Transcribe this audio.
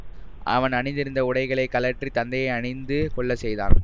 அவன் அணிந்திருந்த உடைகளைக் கழற்றி தந்தையை அணிந்து கொள்ள செய்தான்